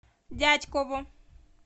дятьково